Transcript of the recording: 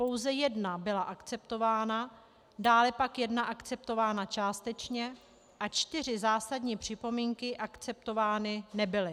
Pouze jedna byla akceptována, dále pak jedna akceptována částečně a čtyři zásadní připomínky akceptovány nebyly.